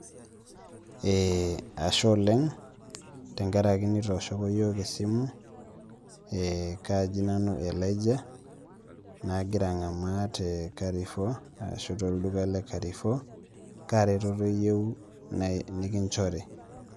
Eeh ashe oleng' tenkaraki nitooshoko iyiook esimu ee kaji nanu Elijah naagira ang'amaa te Carrefour ashu tolduka le Carrefour, kaa retoto iyieu nikinchori.